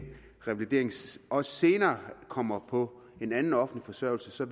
også senere kommer på en anden offentlig forsørgelse